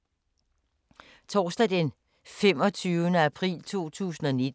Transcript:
Torsdag d. 25. april 2019